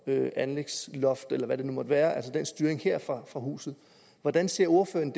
anlægsloft eller hvad det nu måtte være altså den styring her fra huset hvordan ser ordføreren